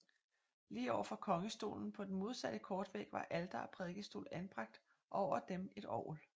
Lige over for kongestolen på den modsatte kortvæg var alter og prædikestol anbragt og over dem et orgel